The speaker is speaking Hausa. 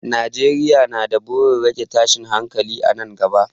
Najeriya na da burin rage tashin hankali a nan gaba.